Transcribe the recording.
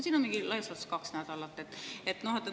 Sinna on mingi laias laastus kaks nädalat, eks.